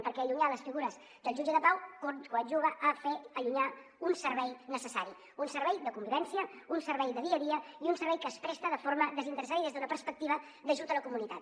perquè allunyar les figures del jutge de pau coadjuva a fer allunyar un servei necessari un servei de convivència un servei de dia a dia i un servei que es presta de forma desinteressada i des d’una perspectiva d’ajut a la comunitat